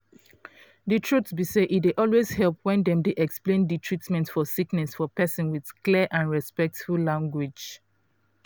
di truth be say e dey always help when dem dey explain di treatment for sickness for persin with clear and respectful language.